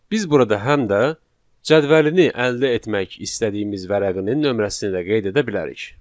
Biz burada həm də cədvəlini əldə etmək istədiyimiz vərəqinin nömrəsini də qeyd edə bilərik.